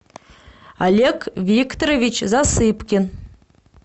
олег викторович засыпкин